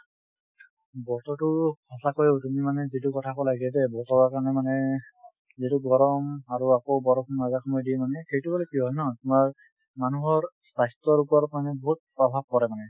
বতৰ টো সঁচাকৈ তুমি মানে যিটো কলা বতৰ ৰ কাৰনে মানে , যিটো গৰম আৰু আকৌ বৰষুণ মাজে সময়ে দিয়ে মানে সেইটো হলে কি হয় ন তোমাৰ মানুহৰ স্বাস্থ্যৰ ওপৰত মানে বহুত প্ৰভাৱ পৰে মানে।